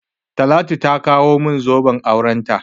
Talatu ta kawo min zoben aurenta.